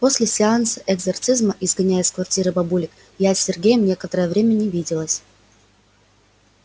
после сеанса экзорсизма изгоняния из квартиры бабулек я с сергеем некоторое время не виделась